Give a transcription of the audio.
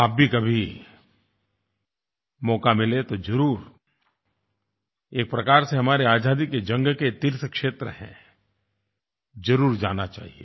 आप भी कभी मौका मिले तो एक प्रकार से हमारी आज़ादी की जंग के तीर्थ क्षेत्र हैं ज़रूर जाना चाहिए